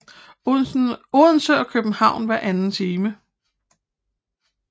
Odense og København hver anden time